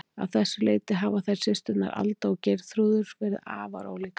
Að þessu leyti hafa þær systurnar, Alda og Geirþrúður, verið afar ólíkar.